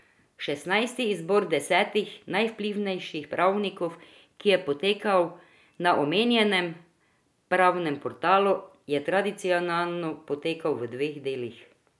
Šestnajsti izbor desetih najvplivnejših pravnikov, ki je potekal na omenjenem pravnem portalu, je tradicionalno potekal v dveh delih.